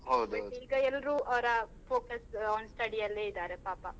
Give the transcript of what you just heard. ಈಗ ಎಲ್ರು ಅವರ focus on study ಅಲ್ಲೆ ಇದಾರೆ ಪಾಪ.